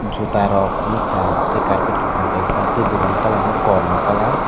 juta rok nugkha tei karpet kakrang kaisa tei dukan ni colour ke kormo kalar.